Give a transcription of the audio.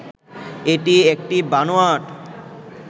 এটি একটি বানোয়াট